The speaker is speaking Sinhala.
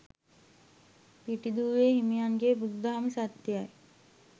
පිටිදූවේ හිමියන්ගේ බුදුදහම සත්‍යයයි.